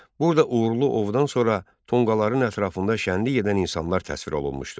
Burada uğurlu ovdan sonra tonqalların ətrafında şənlilik edən insanlar təsvir olunmuşdur.